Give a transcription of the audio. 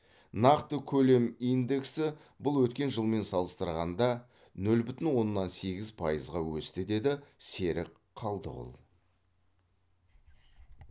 нақты көлем индексі бұл өткен жылмен салыстырғанда нөл бүтін оннан сегіз пайызға өсті деді серік қалдығұл